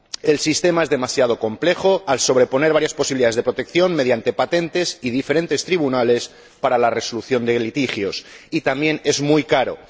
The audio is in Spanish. El sistema es demasiado complejo, al sobreponer varias posibilidades de protección mediante patentes y diferentes tribunales para la resolución de litigios, y también es muy caro.